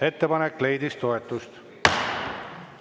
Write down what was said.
Ettepanek leidis toetust.